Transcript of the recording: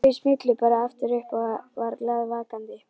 Þau smullu bara upp aftur hann var glaðvakandi.